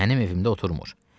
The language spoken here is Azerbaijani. Mənim evimdə oturmır.